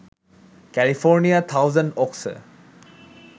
ক্যালিফোর্নিয়ার থাউসেন্ড ওকসে